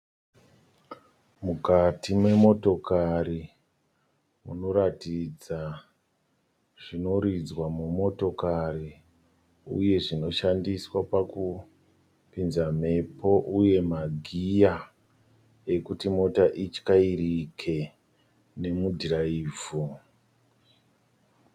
Mukati memotikari munoratidza zvinoridzwa mumotokari uye zvinoshandiswa pakupinza mhepo uye magiya ekuti mota ityairike nemudhiraivho.